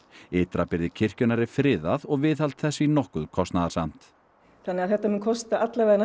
ytra byrði kirkjunnar er friðað og viðhald þess því nokkuð kostnaðarsamt þannig að þetta mun kosta